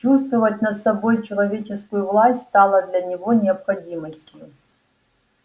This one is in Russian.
чувствовать над собой человеческую власть стало для него необходимостью